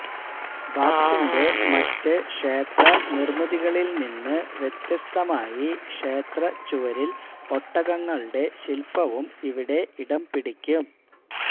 ബാപ്സിന്റെ മറ്റ് ക്ഷേത്ര നിര്മിതികളില്നിന്ന് വ്യത്യസ്തമായി ക്ഷേത്രച്ചുവരില് ഒട്ടകങ്ങളുടെ ശില്പവും ഇവിടെ ഇടംപിടിക്കും